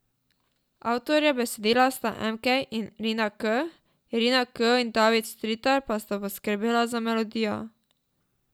Avtorja besedila sta Emkej in Rina K, Rina K in David Stritar pa sta poskrbela za melodijo.